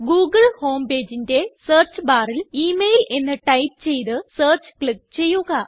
Google home pageന്റെ search barല് email എന്ന് ടൈപ്പ് ചെയ്ത് സെർച്ച് ക്ലിക്ക് ചെയ്യുക